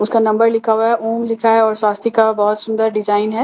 उसका नंबर लिखा हुआ है ॐ लिखा हुआ है और स्वस्तिक का बहुत सुंदर डिजाइन है और --